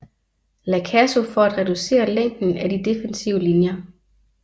La Caso for at reducere længden af de defensive linjer